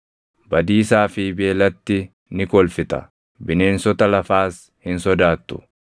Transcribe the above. Badiisaa fi beelatti ni kolfita; bineensota lafaas hin sodaattu.